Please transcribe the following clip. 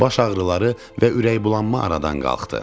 Baş ağrıları və ürəkbulanma aradan qalxdı.